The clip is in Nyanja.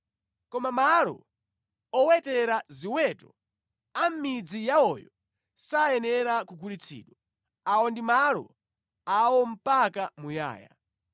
Koma malo owetera ziweto a mʼmidzi yawoyo sayenera kugulitsidwa. Awa ndi malo awo mpaka muyaya.